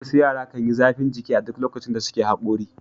Wasu yara kan yi zafin jiki a duk lokacin da suke haƙori.